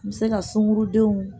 Me se ka sunkurudenw